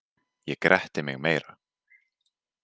Ég gretti mig meira.